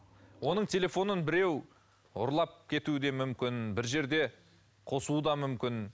онын телефонын біреу ұрлап кетуі де мүмкін бір жерде қосуы да мүмкін